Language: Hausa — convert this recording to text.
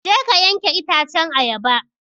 Je ka yanke itacen ayaba!